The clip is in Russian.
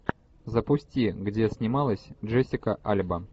запусти где снималась джессика альба